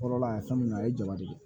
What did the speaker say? Kɔrɔla ye fɛn min a ye jaba de ye